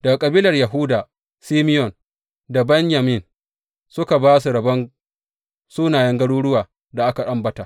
Daga kabilan Yahuda, Simeyon da Benyamin suka ba su rabon sunayen garuruwan da aka ambata.